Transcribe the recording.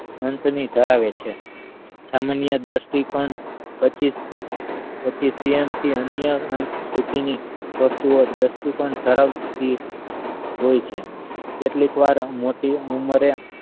અંત ની ધરાવે છે સામાન્ય દ્રષ્ટિ કોણ પચીશ પચીશ અંશતઃ થી અન્ય અંશ સુધી નીવસ્તુ ઓ દ્રષ્ટિ કોણ ધરાવતી હોઈ છે કેટલીક વાર મોટી ઉંમરે